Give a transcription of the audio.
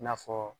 I n'a fɔ